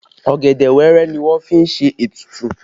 Ọ̀gẹ̀dẹ̀ wẹẹrẹ ni wọ́n fi ṣe ètùtù